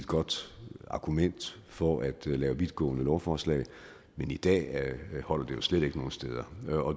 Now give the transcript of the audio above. godt argument for at lave vidtgående lovforslag men i dag holder det jo slet ikke nogen steder